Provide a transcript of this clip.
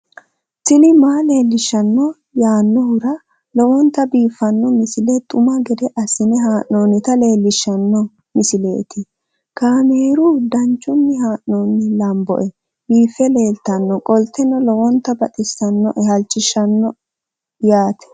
tini maa leelishshanno yaannohura lowonta biiffanota misile xuma gede assine haa'noonnita leellishshanno misileeti kaameru danchunni haa'noonni lamboe biiffe leeeltannoqolten lowonta baxissannoe halchishshanno yaate